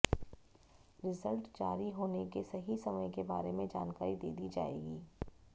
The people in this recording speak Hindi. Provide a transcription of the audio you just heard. रिजल्ट जारी होने के सही समय के बारे में जानकारी दे दी जाएग